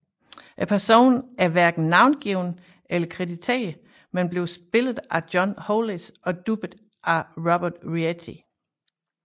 Personen er hverken navngivet eller krediteret men blev spillet af John Hollis og dubbet af Robert Rietti